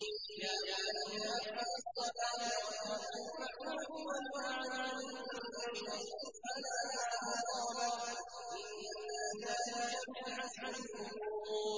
يَا بُنَيَّ أَقِمِ الصَّلَاةَ وَأْمُرْ بِالْمَعْرُوفِ وَانْهَ عَنِ الْمُنكَرِ وَاصْبِرْ عَلَىٰ مَا أَصَابَكَ ۖ إِنَّ ذَٰلِكَ مِنْ عَزْمِ الْأُمُورِ